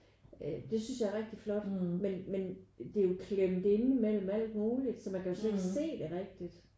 Øh det synes jeg er rigtig flot men men det er jo klemt inde mellem alt muligt så man kan jo slet ikke se det rigtigt